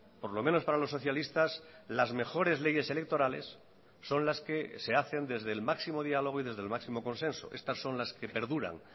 por lo menos para los socialistas las mejores leyes electorales son las que se hacen desde el máximo diálogo y desde el máximo consenso estas son las que perduran